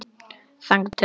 þangað til á morgun?